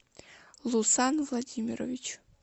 лусан владимирович